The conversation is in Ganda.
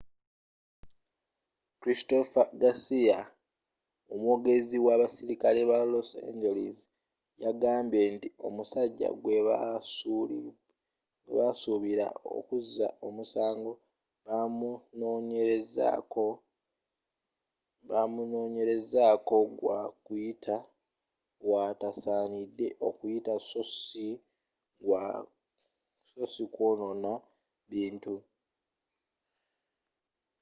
christopher garcia omwogezi w'abaserikale ba los angeles yagambye nti omusajja gwebasubira okkuza omusango bamunonyerezako gwa kuyita waatasanide okuyita sso ssi gwa kwonona bintu